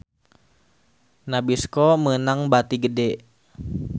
Nabisco meunang bati gede